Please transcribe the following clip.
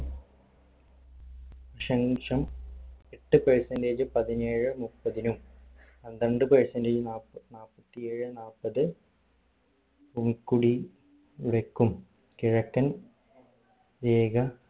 ദശാംശം എട്ട് percentage പതിനേഴേ മുപ്പതിനും പന്ത്രണ്ട് percentage നാപ്പാ നാപ്പത്തി ഏഴേ നാപ്പത് ഉൽകുടി യിലേക്കും കിഴക്കൻ ഏക